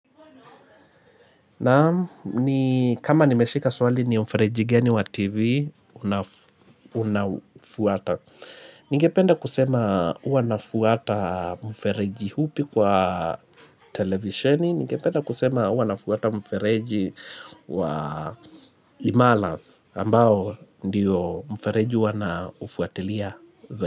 Ni kama nimeshika swali ni mfereji gani wa TV unafuata Ningependa kusema kuanafuata mfereji hupi kwa televisheni Ningependa kusema uanafuata mfereji wa limalath ambao ndiyo mfereji wanaufuatilia zaidi.